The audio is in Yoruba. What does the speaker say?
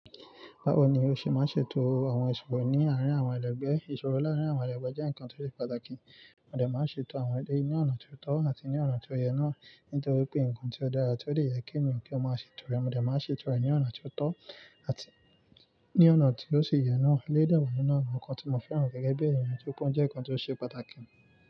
Báwo ni o ṣe máa ń ṣètò àwọn ìṣòro ní àárín àwọn ẹlẹgbẹ́? Ìṣòro láàárín àwọn ẹlẹgbẹ́ jẹ́ nǹkan tó ṣe pàtàkì. Òde máa ń ṣètò àwọn èyí ní ọ̀nà tó tọ́ àti ní ọ̀nà tí ó yẹ náà nítorí pé nǹkan tí ó dára tí ó lè yẹ kí èèyàn kí ó máa ṣètò rẹ̀. Òde máa ń ṣètò rẹ̀ ní ọ̀nà tó tọ́ àti ní ọ̀nà tí ó sì yẹ náà. Elẹ́ de wa nínú awọ̀n nkan tí mo fẹ́ràn gẹ́gẹ́ bí èèyàn tó pọ́n jẹ́ nǹkan tó ṣe pàtàkì.